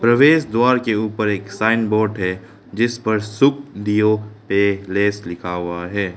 प्रवेश द्वार के ऊपर एक साइन बोर्ड है जिस पर सुखडीओ पैलेस लिखा हुआ है।